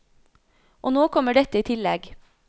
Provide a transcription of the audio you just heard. Og nå kommer dette i tillegg.